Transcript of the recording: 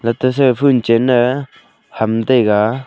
jata sa e phoon chinne ham taiga.